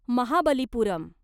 Mahabalipuram